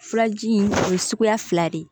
Furaji in o ye suguya fila de ye